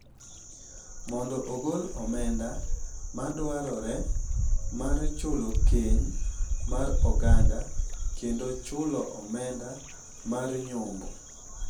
mondo ogol omenda ma dwarore mar chulo keny mar oganda kendo chulo omenda mar nyombo.